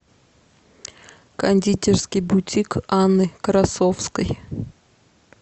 кондитерский бутик анны красовской